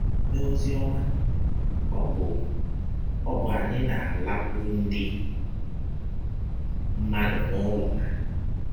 N’ọzi ọma, ọ bụ, ọ bụ anyị na - alakwụrụ ndị mmadụ n’ụlọ ha.